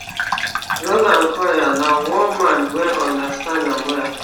roland collyer na man wey understand am well